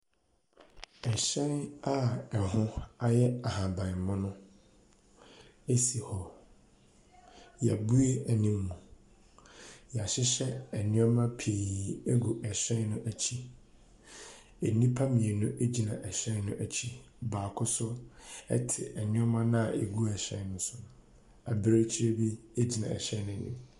Hyɛn a ɛho yɛ ahabanmono si hɔ, yɛabue anim. Yɛahyehyɛ nneɛma pii agu hyɛn no akyi. Nnipa mmienu gyina hyɛn no akyi, baako so ɛte nneɛma no a agu hyɛn ne so no, abirekyi bi gyina hyɛn n’anim.